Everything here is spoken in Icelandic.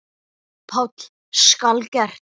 PÁLL: Skal gert!